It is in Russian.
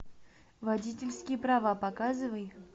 водительские права показывай